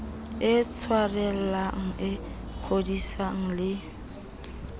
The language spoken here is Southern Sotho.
e tshwarellang e kgodisang le